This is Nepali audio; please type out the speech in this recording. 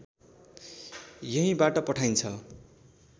यहीँबाट पठाइन्छ